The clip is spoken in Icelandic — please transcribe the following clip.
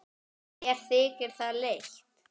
Mér þykir það leitt.